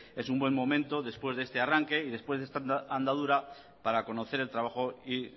es un buen momento después de este arranque y después de esta andadura para conocer el trabajo y